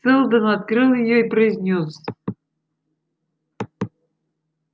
сэлдон открыл её и произнёс